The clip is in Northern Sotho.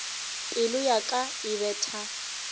pelo ya ka e betha